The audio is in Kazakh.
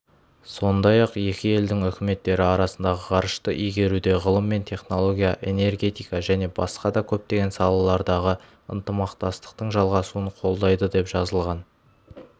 сондай-ақ екі елдің үкіметтері арасындағы ғарышты игеруде ғылым мен технология энергетика және басқа да көптеген салалардағы ынтымақтастықтың жалғасуын қолдайды деп жазылған